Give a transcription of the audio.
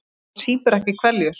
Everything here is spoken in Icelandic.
Hann sýpur ekki hveljur.